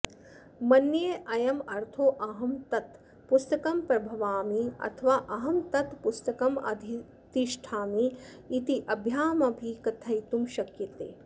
मन्येऽयमर्थोऽहं तत् पुस्तकं प्रभवामि अथवा अहं तत् पुस्तकमधितिष्ठामि इत्याभ्यामपि कथयितुं शक्यते